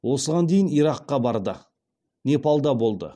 осыған дейін иракқа барды непалда болды